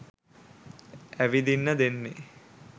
ඇවිදින්න දෙන්නේ.